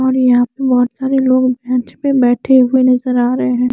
और यहां पे बहुत सारे लोग बेंच पे बैठे हुए नज़र आ रहे हैं।